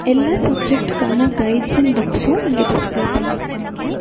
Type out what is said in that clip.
எல்லா சப்ஜெக்ட்டுகான guides books இங்க டிஸ்ப்ளே பன்னிருக்காங்க.